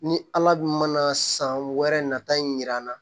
Ni ala dun mana san wɛrɛ nata in jira an na